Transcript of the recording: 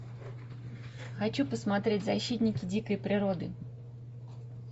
хочу посмотреть защитники дикой природы